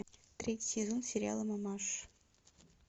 третий сезон сериала мамаша